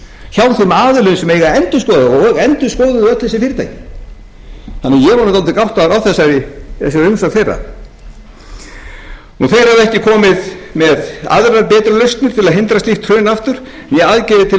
þeim aðilum sem eiga að endurskoða og endurskoðuðu öll þessi fyrirtæki ég var dálítið gáttaður á þessari umsögn þeirra þeir höfðu ekki komið með aðrar betri lausnir til að hindra slíkt hrun aftur né aðgerðir til að